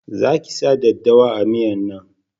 Za ki sa daddawa a miyan nan!